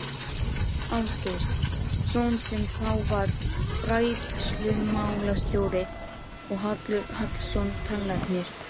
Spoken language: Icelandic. Ásgeirs- son sem þá var fræðslumálastjóri og Hallur Hallsson tannlæknir.